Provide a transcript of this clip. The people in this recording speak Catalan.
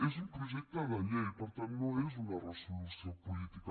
és un projecte de llei per tant no és una resolució política